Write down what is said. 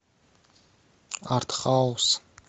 артхаус